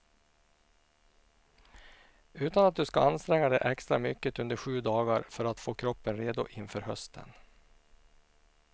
Utan att du ska anstränga dig extra mycket under sju dagar för att få kroppen redo inför hösten.